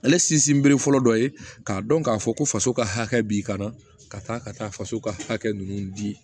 Ale sinsin bere fɔlɔ dɔ ye k'a dɔn k'a fɔ ko faso ka hakɛ b'i kan na ka taa ka taa faso ka hakɛ ninnu di